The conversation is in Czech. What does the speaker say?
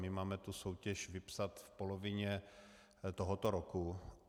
My máme tu soutěž vypsat v polovině tohoto roku.